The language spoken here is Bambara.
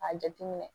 A jateminɛ